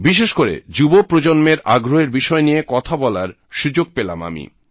বিশেষ করে যুব প্রজন্মের আগ্রহের বিষয় নিয়ে কথা বলার সুযোগ পেলাম আমি